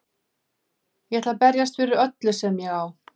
Ég ætla að berjast fyrir öllu sem ég á.